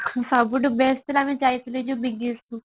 ସବୁଠୁ best ଥିଲା ଆମେ ଯାଇଥିଲେ ଯୋଉ କୁ